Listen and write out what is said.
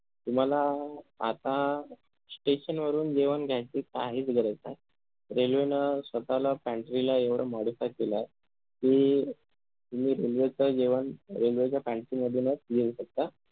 तुम्हाला आता station वरून जेवण घ्यायची काहीच गरज नाही railway न स्वतःला pantry ला एवढ modify केलाय कि तुम्ही railway च जेवण railway च्या pantry मधूनच घेऊशकता